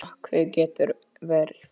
Nökkvi getur verið